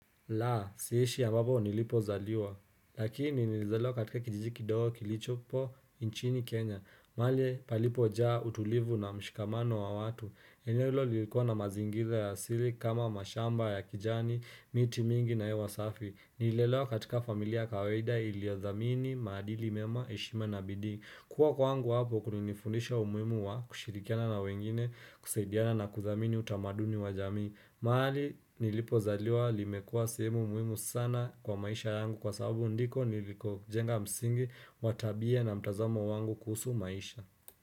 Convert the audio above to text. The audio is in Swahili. Laa, siishi ambapo nilipo zaliwa, lakini nilizaliwa katika kijiji ki dogo kilicho po inchini Kenya, mahali palipo jaa utulivu na mshikamano wa watu, eneo lilikuwa na mazingiza ya asili kama mashamba ya kijani, miti mingi na hewasafi, nililelewa katika familia kawaida iliyo thamini, maadili mema, eshima na bidii, kuwa kwangu hapo kulinifundisha umuimu wa kushirikiana na wengine, kusaidiana na kuthamini utamaduni wa jamii mahali nilipo zaliwa limekuwa sehemu muhimu sana kwa maisha yangu kwa sababu ndiko niliko jenga msingi watabia na mtazamo wangu kuhusu maisha.